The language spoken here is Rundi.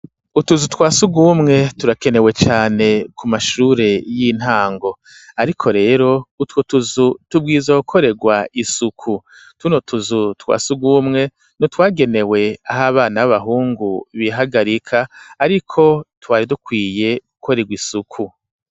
Utuzu twasugumwe turakenewe cane ku mashure y'intango ariko rero utwo tuzu tubwirizwa gukorerwa isuku tuno tuzu twasugumwe twagenewe aho abana b'abahungu bihagarika ariko twari dukwiye gukorerwa isuku.